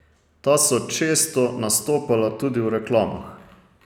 Ta so često nastopala tudi v reklamah.